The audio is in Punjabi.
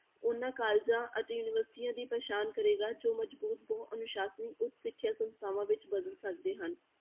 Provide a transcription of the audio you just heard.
ਉਹਨਾਂ colleges ਅਤੇ ਯੂਨੀਵਰਸਟੀਆਂ ਦੀ ਪ੍ਰਸਾਨ ਕਰੇਗਾ ਜੋ ਮਜ਼ਬੂਤ ਬਹੁ ਅਨੁਸਾਸਨੀ ਉੱਚ ਸਿੱਖਿਆ ਸੰਸਥਾਵਾਂ ਵਿੱਚ ਬਦਲ ਸਕਦੇ ਹਨ।